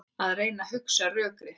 Að reyna að hugsa rökrétt